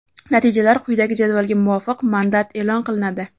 natijalar quyidagi jadvalga muvofiq mandat eʼlon qilinadi:.